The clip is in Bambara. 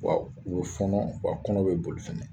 Wa u be fɔnɔ u ka kɔnɔ be boli fɛnɛ.